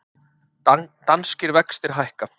Danskir vextir hækka